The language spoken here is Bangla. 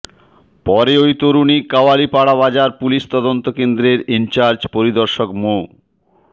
পরে ওই তরুণী কাওয়ালীপাড়া বাজার পুলিশ তদন্ত কেন্দ্রের ইনচার্জ পরিদর্শক মো